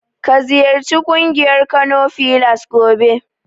Ka ziyarci ƙungiyar Kano filas gobe.